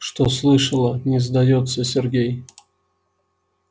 что слышала не сдаётся сергей